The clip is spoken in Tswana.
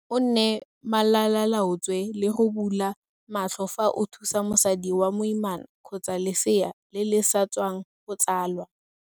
O nne malalaalaotswe le go bula matlho fa o thusa mosadi wa moimana kgotsa lesea le le sa tswang go tsalwa.